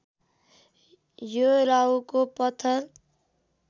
यो राहुको पत्थर